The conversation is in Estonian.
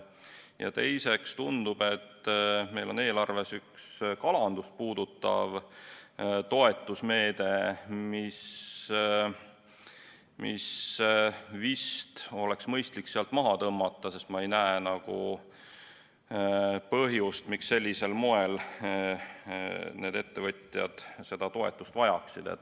Ja teiseks tundub, et meil on eelarves üks kalandust puudutav toetusmeede, mis vist oleks mõistlik sealt maha tõmmata, sest ma ei näe põhjust, miks sellisel moel need ettevõtjad seda toetust vajaksid.